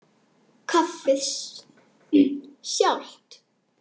Kaffið sjálft.